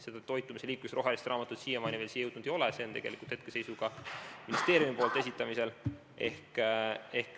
Seda liikumise ja toitumise rohelist raamatut siiamaani veel siia jõudnud ei ole, see on hetkeseisuga ministeeriumi poolt esitamisel.